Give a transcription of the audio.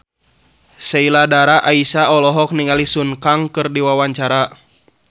Sheila Dara Aisha olohok ningali Sun Kang keur diwawancara